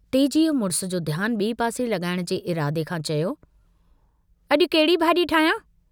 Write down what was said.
तेजीअ मुड़िस जो ध्यानु बिए पासे लगाइण जे इरादे खां चयो, "अजु कहिड़ी भाजी ठाहियां।